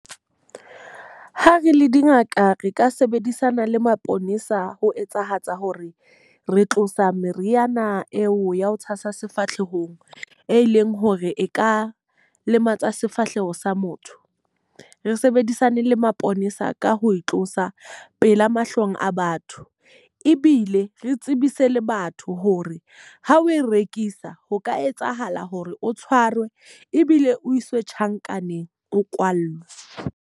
Ha re le dingaka re ka sebedisana le maponesa ho etsahatsa hore re tlosa meriana eo ya ho tshasa sefahlehong, e leng hore e ka lematsa sefahleho sa motho. Re sebedisane le maponesa ka ho e tlosa pela mahlong a batho. Ebile re tsebise le batho hore ha o e rekisa, ho ka etsahala hore o tshwarwe ebile o iswe tjhankaneng, o kwallwe.